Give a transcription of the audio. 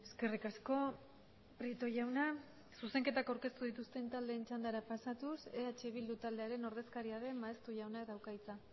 eskerrik asko prieto jauna zuzenketak aurkeztu dituzten taldeen txandara pasatuz eh bildu taldearen ordezkaria den maeztu jaunak dauka hitza